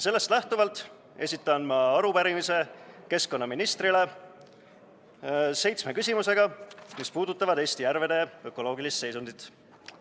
Sellest lähtuvalt esitan ma arupärimise keskkonnaministrile seitsme küsimusega, mis puudutavad Eesti järvede ökoloogilist seisundit.